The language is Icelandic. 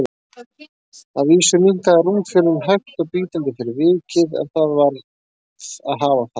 Að vísu minnkaði rúmfjölin hægt og bítandi fyrir vikið, en það varð að hafa það.